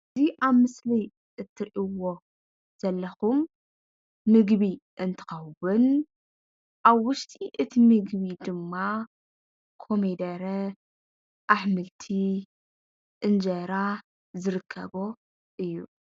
እዚ ኣብ ምስሊ እትሪእይዎ ዘለኽም ምግቢ እንትከውን ኣብ ውሽጢ እቲ ምግቢ ድማ ኮሚደረ፣ ኣሕምልቲ፣ እንጀራ ዝርከቦ እዩ::